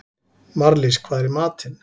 Marlís, hvað er í matinn?